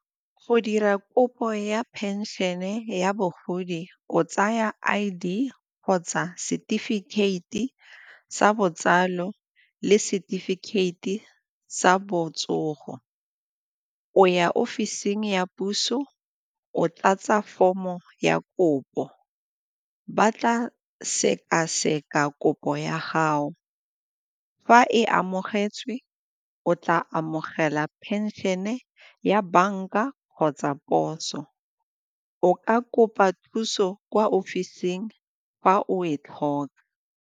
Go dira kopo ya phenšene ya bogodi o tsaya I_D kgotsa setefikeiti sa botsalo le setefikeiti sa botsogo. O ya ofising ya puso, o tlatsa form-o ya kopo. Ba tla sekaseka kopo ya gago, fa e amogetswe o tla amogela phenšene ya banka kgotsa poso, o ka kopa thuso kwa ofising fa o e tlhoka.